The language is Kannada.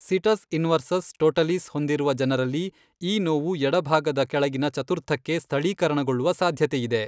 ಸಿಟಸ್ ಇನ್ವರ್ಸಸ್ ಟೋಟಲಿಸ್ ಹೊಂದಿರುವ ಜನರಲ್ಲಿ ಈ ನೋವು ಎಡಭಾಗದ ಕೆಳಗಿನ ಚತುರ್ಥಕ್ಕೆ ಸ್ಥಳೀಕರಣಗೊಳ್ಳುವ ಸಾಧ್ಯತೆಯಿದೆ.